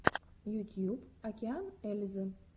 ютьюб океан ельзи